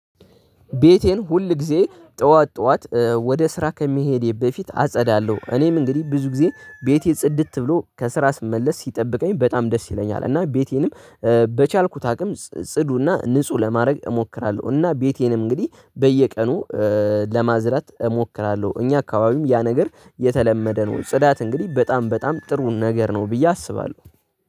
ቤቴን ሁል ጊዜ ጠዋት ጠዋት ወደ ስራ ከሚሄድ በፊት አጸዳለሁ እኔም እንግዲህ ብዙ ጊዜ ቤቴ ጽድት ብሎ ከስራ ስመለስ ሲጠብቀኝ በጣም ደስ ይለኛል እና ቤቴንም በቻልኩት አቅም ጽዱና ንጹህ ለማድረግ እሞክራለሁ። እና ቤቴንም እንግዲህ በየቀኑ ለማዝራት እሞክራለሁ። እኛ አካባቢም ያ ነገር የተለመደ ነው ጽዳት እንግዲህ በጣም በጣም ጥሩውን ነገር ነው ብዬ አስባለሁ